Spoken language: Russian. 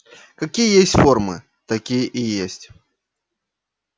какие есть формы такие и есть